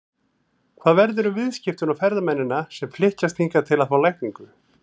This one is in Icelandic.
Hvað verður um viðskiptin og ferðamennina sem flykkjast hingað til að fá lækningu?